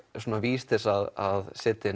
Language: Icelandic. vís til að setja